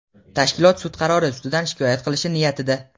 tashkilot sud qarori ustidan shikoyat qilish niyatida.